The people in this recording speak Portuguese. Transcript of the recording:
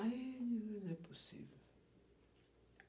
Aí, não é possível.